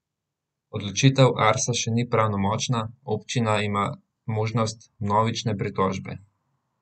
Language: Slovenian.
Odločitev Arsa še ni pravnomočna, občina ima možnost vnovične pritožbe.